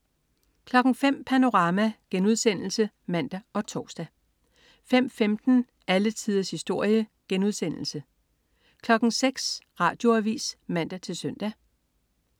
05.00 Panorama* (man og tors) 05.15 Alle tiders historie* 06.00 Radioavis (man-søn)